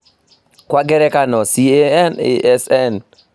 Kwa ngerekano, CAN, ASN